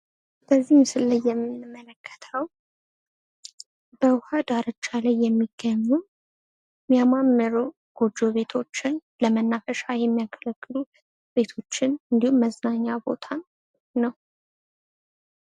በዚህ ምስል ላይ የምንመለከተዉ በዉኃ ዳርቻ ላይ የሚገኙ የሚያማምሩ ጎጆ ቤቶችን ለመናፈሻ የሚያገለግሉ ቤቶችን እንዲሁም መዝናኛ ቦታ ነዉ።